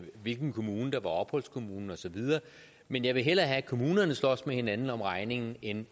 hvilken kommune der var opholdskommune og så videre men jeg vil hellere have at kommunerne slås med hinanden om regningen end